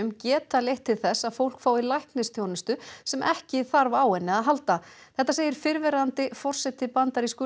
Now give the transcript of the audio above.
geta leitt til þess að fólk fái læknisþjónustu sem ekki þarf á henni að halda þetta segir fyrrverandi forseti bandarísku